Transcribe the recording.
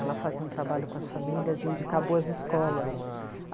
Ela fazia um trabalho com as famílias de indicar boas escolas.